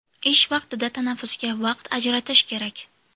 Ish vaqtida tanaffusga vaqt ajratish kerak.